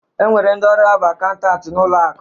E nwere ndi ọrụ ha bụ akaụntanti n'ụlọ akụ